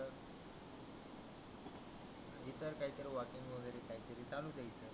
इतर काही तरी वाचून वगेरे काही तरी चालू ठेवशील